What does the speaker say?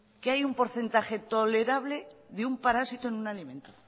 que hay un porcentaje tolerable de un parásito en un alimento